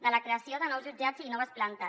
de la creació de nous jutjats i noves plantes